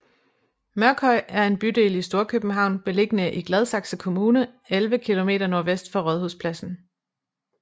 Mørkhøj er en bydel i Storkøbenhavn beliggende i Gladsaxe Kommune 11 kilometer nordvest for Rådhuspladsen